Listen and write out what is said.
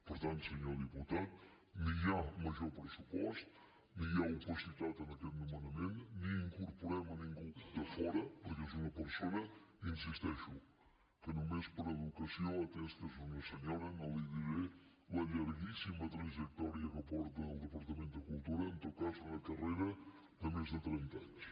per tant senyor diputat ni hi ha major pressupost ni hi ha opacitat en aquest nomenament ni incorporem a ningú de fora perquè és una persona hi insisteixo que només per educació atès que és una senyora no li diré la llarguíssima trajectòria que porta al departament de cultura en tot cas una carrera de més de trenta anys